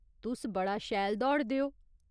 तुस बड़ा शैल दौड़दे ओ।